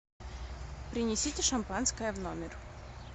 принесите шампанское в номер